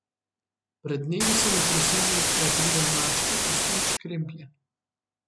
Pred dnevi so me prosili, naj pridem mački postrič kremplje.